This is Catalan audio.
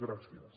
gràcies